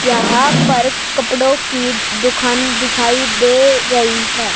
यहां पर कपड़ों की दुखान दिखाई दे रही है।